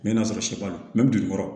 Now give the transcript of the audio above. N bɛ n'a sɔrɔ sɛ b'a la